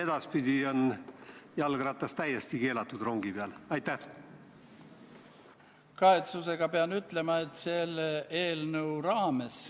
Igas armees on sõjakurjategijaid, see on vältimatu, aga sõjakuriteod ei saa olla, ütleks niiviisi, tavaline praktika.